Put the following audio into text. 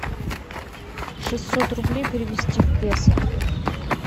шестьсот рублей перевести в песо